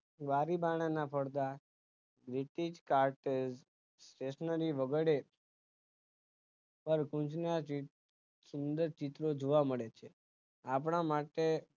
બારી બારણાં ના પડદા carpet stationary વગેરે પર પરકુંજ ના સુંદર ચિત્રો જોવા મળે છે આપણા માટે